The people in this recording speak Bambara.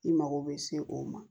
I mago bɛ se o ma